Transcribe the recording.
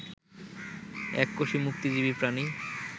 এককোষী মুক্তজীবী প্রাণী